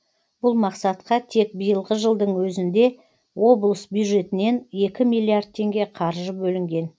бұл мақсатқа тек биылғы жылдың өзінде облыс бюджетінен екі миллиард теңге қаржы бөлінген